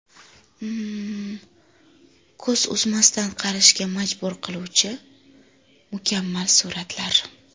Ko‘z uzmasdan qarashga majbur qiluvchi mukammal suratlar.